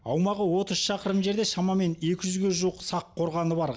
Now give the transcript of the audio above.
аумағы отыз шақырым жерде шамамен екі жүзге жуық сақ қорғаны бар